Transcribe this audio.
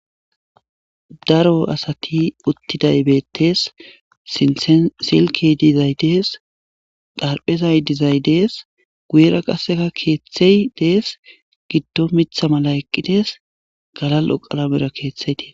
daro asati uttiday beettees sinthen silki dizay dees darphezay dizay dees guyera qasseka keeththey dees giddo mitha mala eqqidees galal7o qalamera keeththeydees